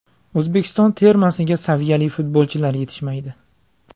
O‘zbekiston termasiga saviyali futbolchilar yetishmaydi.